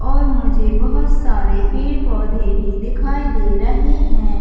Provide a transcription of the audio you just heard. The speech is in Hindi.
और मुझे बहोत सारे पेड़-पौधे भी दिखाई दे रहे है।